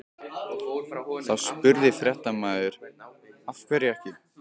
Þá spurði fréttamaður: Af hverju ekki?